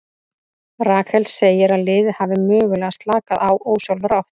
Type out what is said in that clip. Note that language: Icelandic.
Rakel segir að liðið hafi mögulega slakað á ósjálfrátt.